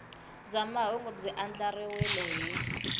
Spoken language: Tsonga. bya mahungu byi andlariwile hi